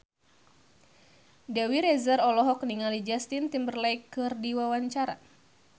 Dewi Rezer olohok ningali Justin Timberlake keur diwawancara